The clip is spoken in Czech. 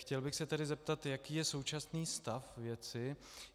Chtěl bych se tedy zeptat, jaký je současný stav věci.